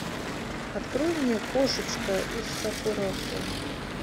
открой мне кошечка из сакурасо